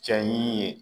Cɛ ɲi ye